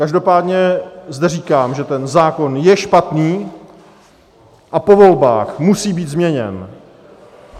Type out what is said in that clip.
Každopádně zde říkám, že ten zákon je špatný a po volbách musí být změněn.